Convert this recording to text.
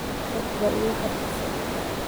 Aad ba igafarxise.